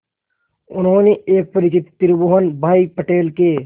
उन्होंने एक परिचित त्रिभुवन भाई पटेल के